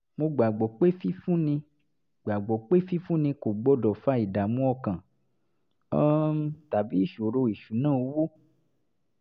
mo gbàgbọ́ pé fífúnni gbàgbọ́ pé fífúnni kò gbọ́dọ̀ fa ìdààmú ọkàn um tàbí ìṣòro ìṣúnná owó